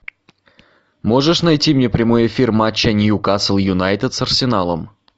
можешь найти мне прямой эфир матча ньюкасл юнайтед с арсеналом